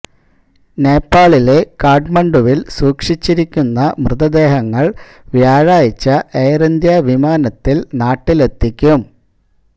നേപ്പാളിലെ കാഠ്മണ്ഡുവില് സൂക്ഷിച്ചിരിക്കുന്ന മൃതദേഹങ്ങള് വ്യാഴാഴ്ച എയര് ഇന്ത്യ വിമാനത്തില് നാട്ടിലെത്തിക്കും